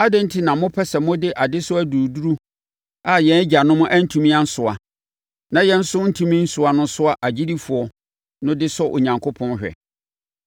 Adɛn enti na mopɛ sɛ mode adesoa duruduru a yɛn agyanom antumi ansoa, na yɛn nso antumi ansoa no soa agyidifoɔ no de sɔ Onyankopɔn hwɛ?